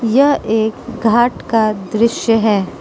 यह एक घाट का दृश्य है।